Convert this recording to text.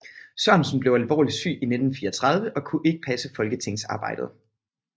Sørensen blev alvorligt syg i 1934 og kunne ikke passe folketingsarbejdet